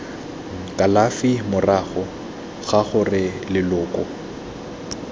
kalafi morago ga gore leloko